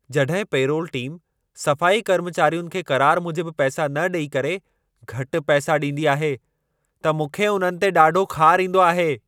जॾहिं payroll team सफ़ाई कर्मचारियुनि खे क़रार मूजिबि पैसा न ॾेई करे, घटि पैसा ॾींदी आहे, त मूंखे उन्हनि ते ॾाढो ख़ार ईंदो आहे।